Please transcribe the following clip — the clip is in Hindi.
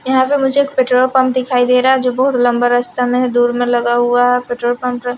यहां पे मुझे एक पेट्रोल पंप दिखाई दे रहा है जो बहुत लंबा रस्ता में है दूर में लगा हुआ है पेट्रोल पंप --